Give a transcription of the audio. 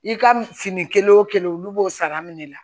I ka fini kelen wo kelen olu b'o sara minɛ la